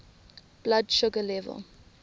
blood sugar level